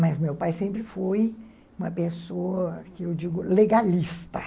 Mas meu pai sempre foi uma pessoa, que eu digo, legalista.